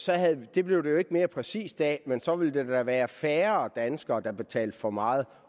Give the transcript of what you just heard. det blev det jo ikke mere præcist af men så ville der da være færre danskere der betalte for meget